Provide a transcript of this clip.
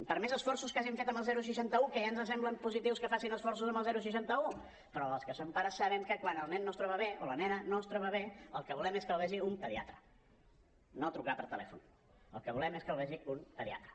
per més esforços que hagin fet amb el seixanta un que ja ens sembla positiu que facin esforços amb el seixanta un però els que som pares sabem que quan el nen no es troba bé o la nena no es troba bé el que volem és que els vegi un pediatre no trucar per telèfon el que volem és que els vegi un pediatre